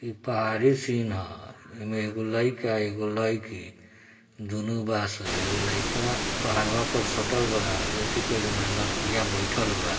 यह पहाड़ी सिन है उनमे एगो लड़का एगो लड़की